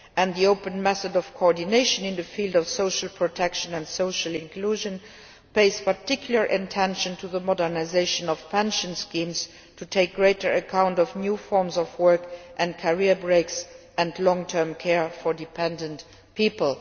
The open method of coordination in the field of social protection and social inclusion pays particular attention to the modernisation of pension schemes to take greater account of new forms of work, career breaks and long term care for dependent people.